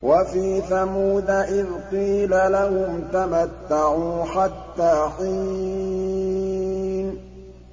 وَفِي ثَمُودَ إِذْ قِيلَ لَهُمْ تَمَتَّعُوا حَتَّىٰ حِينٍ